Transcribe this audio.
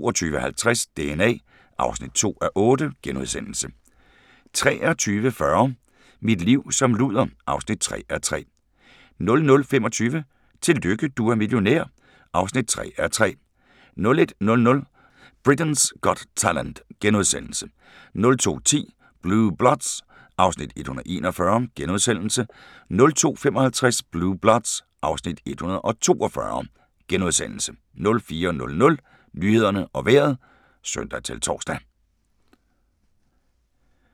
22:50: DNA (2:8)* 23:40: Mit liv som luder (3:3) 00:25: Tillykke, du er millionær (3:3)* 01:00: Britain's Got Talent * 02:10: Blue Bloods (Afs. 141)* 02:55: Blue Bloods (Afs. 142)* 04:00: Nyhederne og Vejret (søn-tor)